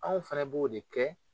Anw fana b'o de kɛ